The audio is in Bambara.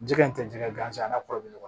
Jɛgɛ in tɛ jɛgɛ gansan n'a kɔrɔ bɛ ɲɔgɔn na